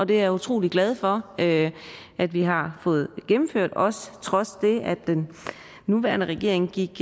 det er jeg utrolig glad for at at vi har fået gennemført også trods det at den nuværende regeringen gik